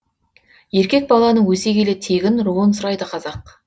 еркек баланың өсе келе тегін руын сұрайды қазақ